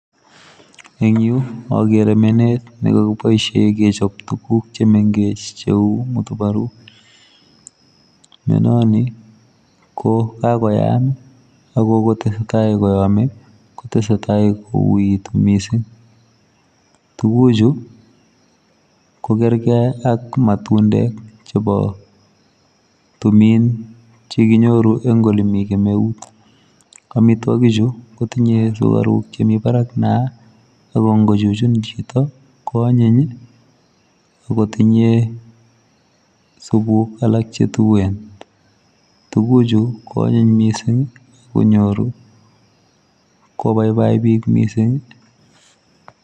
Eng agere menet nekakibaisheen kechaap tuguuk che mengeech che uu matubaruuk ,menan nii ko kakoyaan ii ago kotesetai koyame kotesetai kowuituu, missing tuguuk chuu ko kerkei ak matundek chebo tumiin chekinyoruu eng ole Mii kemeut, amitwagiik chuu kotinyei sugariuk che Mii Barak niah ako ingo chuchuun chitoo koanyiin ii akotinyei supu alaak che tuen tuguuk chuu ko anyiiny missing ii konyooru kobaibai biik missing ii.